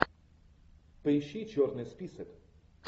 поищи черный список